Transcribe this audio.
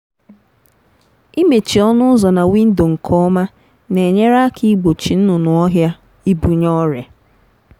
imechi ọnụ ụzọ na windo nke ọma na-enyere aka igbochi nnụnụ ọhịa ibunye ọrịa.